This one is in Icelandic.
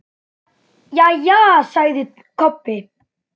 Jæja, sagði Kobbi.